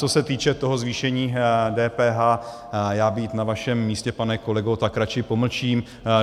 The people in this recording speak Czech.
Co se týče toho zvýšení DPH, já být na vašem místě, pane kolego, tak radši pomlčím.